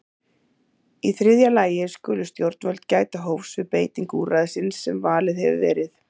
Í þriðja lagi skulu stjórnvöld gæta hófs við beitingu úrræðisins sem valið hefur verið.